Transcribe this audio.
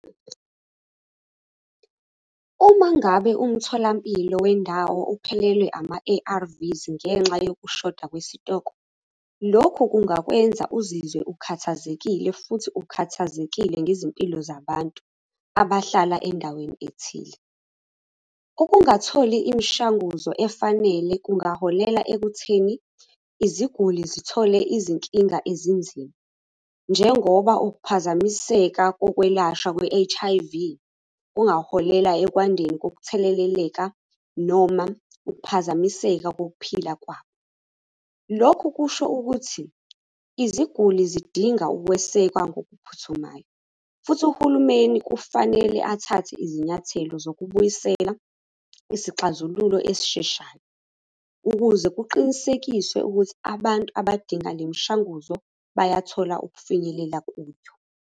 Uma ngabe umtholampilo wendawo uphelelwe ama-A_R_V ngenxa yokushoda kwesitoko, lokhu kungakwenza uzizwe ukhathazekile futhi ukhathazekile ngezimpilo zabantu abahlala endaweni ethile. Ukungatholi imishanguzo efanele kungaholela ekutheni iziguli zithole izinkinga ezinzima, njengoba ukuphazamiseka kokwelashwa kwe-H_I_V, kungaholela ekwandeni kokutheleleleka noma ukuphazamiseka kokuphila kwabo. Lokhu kusho ukuthi, iziguli zidinga ukwesekwa ngokuphuthumayo, futhi uhulumeni kufanele athathe izinyathelo zokubuyisela isixazululo esisheshayo, ukuze kuqinisekiswe ukuthi abantu abadinga le mishanguzo bayathola ukufinyelela kuyo.